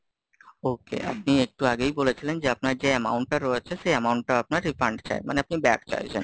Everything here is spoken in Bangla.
তিনি একটু আগেই বলেছিলেন যে আপনার যে amount টা রয়েছে, সেই amount টা আপনার refund চাই। মানে আপনি back চাইছেন?